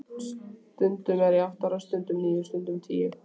Stundum er ég átta ára, stundum níu, stundum tíu.